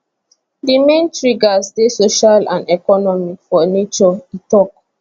di main triggers dey social and economic for nature e tok